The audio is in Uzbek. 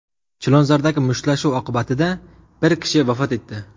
Chilonzordagi mushtlashuv oqibatida bir kishi vafot etdi.